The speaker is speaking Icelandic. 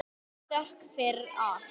Þökk fyrir allt.